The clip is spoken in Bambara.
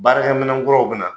Baarakɛminɛ kuraw bi na.